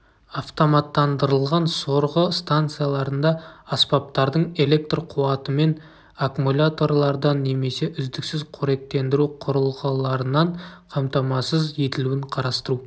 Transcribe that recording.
автоматтандырылған сорғы станцияларында аспаптардың электр қуатымен аккумуляторлардан немесе үздіксіз қоректендіру құрылғыларынан қамтамасыз етілуін қарастыру